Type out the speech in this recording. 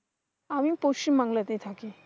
আমি পশ্চিম বাংলাতেই থাকি।